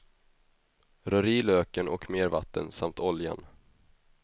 Rör i löken och mer vatten samt oljan.